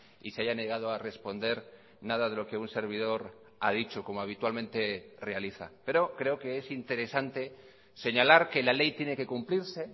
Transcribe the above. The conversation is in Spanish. y se haya negado a responder nada de lo que un servidor ha dicho como habitualmente realiza pero creo que es interesante señalar que la ley tiene que cumplirse